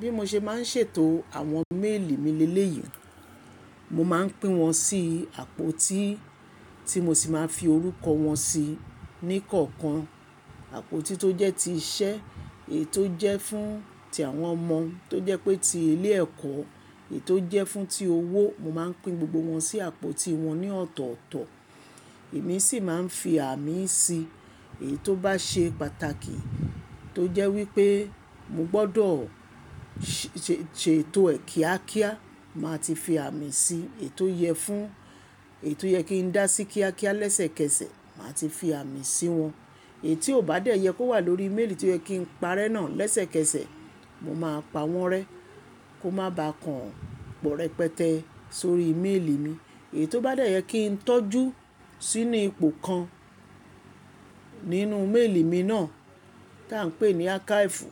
Bí mo ṣe máa ń ṣètò àwọn méèlì mi léleyì, mo máa ń pín wọn sí àpótí tí mo sì máa ń fi orúkọ wọn sí ní kọ̀ọ̀kan. Àpótí tó jẹ́ ti iṣẹ́, èyí tó jẹ́ fún ti àwọn ọmọ tó jẹ́ pé ti ilé ẹ̀kọ́, èyí tó jẹ́ fún ti owó, mo máa ń pín gbogbo wọn sí àpótí wọn ní ọ̀tọ̀ọ̀tọ̀. Èmi sì máa ń fi àmì sí èyí tó bá ṣe pàtàkì tó jẹ́ wípé mo gbọ́dọ̀ ṣètò è kíákíá, màá ti fi àmì sí i, èyí tó yẹ fún èyí tó yẹ kí n dá sí kíákíá lẹ́sẹ̀kẹsẹ̀, màá ti fi àmì sí wọn. Èyí tí ò bá dẹ́yẹ kí ó wà lórí méèlì tí ó yẹ kí n parẹ́ náà lẹ́sẹ̀kẹsẹ̀, mo máa pa wọ́n rẹ́ kó má ba kàn pọ̀ rẹpẹtẹ sórí méèlì mi. Èyí tó bá dẹ́yẹ kí n tọ́jú sí inú ipò kan nínú méèlì mi náà tí à ń pè ní ákáfù,